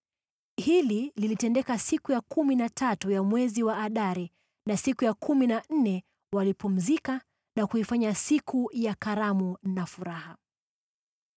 Hili lilitendeka siku ya kumi na tatu ya mwezi wa Adari na siku ya kumi na nne walipumzika na kuifanya siku ya karamu na furaha.